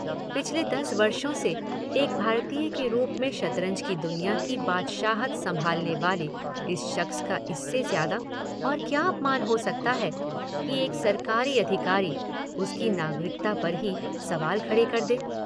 पिछले दस वर्षों से एक भारतीय के रूप में शतरंज की दुनिया की बादशाहत संभालने वाले इस शख्स का इससे ज्यादा और क्या अपमान हो सकता है कि एक सरकारी अधिकारी उसकी नागरिकता पर ही सवाल खड़े कर दे?